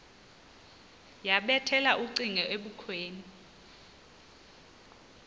yabethela ucingo ebukhweni